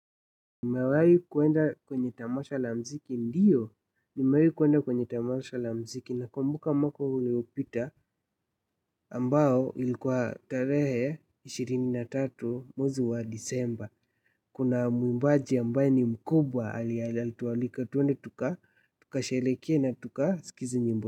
Nimawahi kuenda kwenye tamasha la mziki ndiyo. Nimawahi kuenda kwenye tamasha la mziki nakumbuka mwaka uliopita ambao ilikuwa tarehe ishirini na tatu mwezi wa Disemba kuna muimbaji ambaye ni mkubwa alitualika twende tukashereke na tukaskize nyimbo.